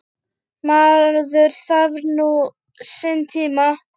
Maður þarf nú sinn tíma.